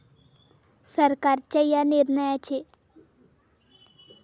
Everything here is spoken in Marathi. सरकारच्या या निर्णयाचे.